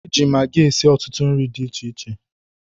E ji magi esi ọtụtụ nri di iche iche.